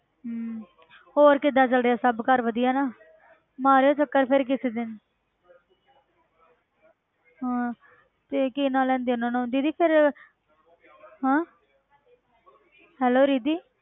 ਹਮ ਹੋਰ ਕਿੱਦਾਂ ਚੱਲਦੇ ਸਭ ਘਰ ਵਧੀਆ ਨਾ ਮਾਰਿਓ ਚੱਕਰ ਫਿਰ ਕਿਸੇ ਦਿਨ ਹਾਂ ਤੇ ਕੀ ਨਾਂ ਲੈਂਦੇ ਉਹਨਾਂ ਨੂੰ ਦੀਦੀ ਫਿਰ ਹਾਂ ਹੈਲੋ ਰਿੱਧੀ